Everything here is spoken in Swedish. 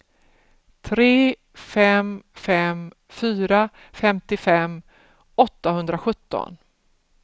tre fem fem fyra femtiofem åttahundrasjutton